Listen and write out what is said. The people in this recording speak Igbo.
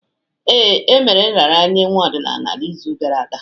Ee, emere nraranye nwa ọdịnala n'izu gara aga.